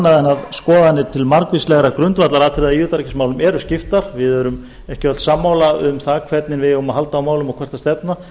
þótt skoðanir um margvísleg grundvallaratriði í utanríkismálum séu augljóslega skiptar við erum ekki öll sammála um hvernig við eigum að halda á málum og hvert á að stefna